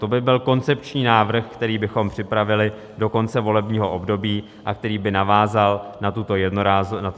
To by byl koncepční návrh, který bychom připravili do konce volebního období a který by navázal na toto jednorázové řešení.